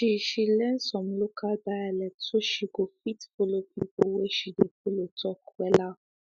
she she learn some local dialect so she go fit follow people whey she dey follow talk wella